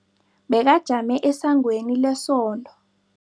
Bekajame esangweni lesonto.